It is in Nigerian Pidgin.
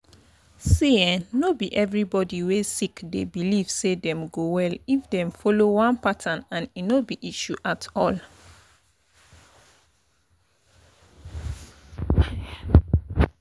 see[um]no be everybody wey sick dey believe say them go well if them follow one pattern and e no be issue at all.